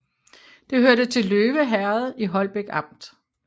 Det hørte til Løve Herred i Holbæk Amt